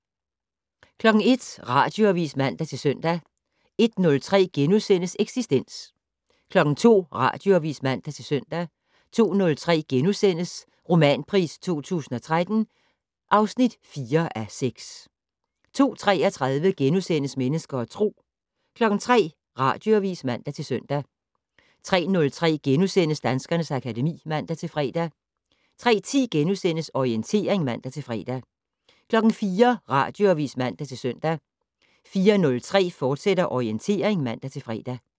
01:00: Radioavis (man-søn) 01:03: Eksistens * 02:00: Radioavis (man-søn) 02:03: Romanpris 2013 (4:6)* 02:33: Mennesker og Tro * 03:00: Radioavis (man-søn) 03:03: Danskernes akademi *(man-fre) 03:10: Orientering *(man-fre) 04:00: Radioavis (man-søn) 04:03: Orientering, fortsat (man-fre)